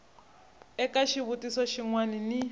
eka xivutiso xin wana ni